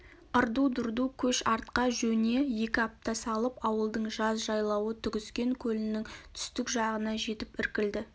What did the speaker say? ырду-дырду көш артқа жөне екі апта салып ауылдың жаз жайлауы түгіскен көлінің түстік жағына жетіп іркілді